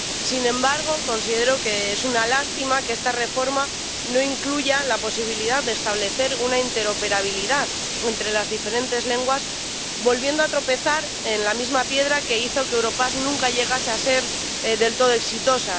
Sin embargo, considero que es una lástima que esta reforma no incluya la posibilidad de establecer una interoperabilidad entre las diferentes lenguas, volviendo a tropezar en la misma piedra que hizo que Europass nunca llegase a ser del todo exitosa.